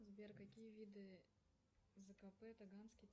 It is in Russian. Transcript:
сбер какие виды зкп таганский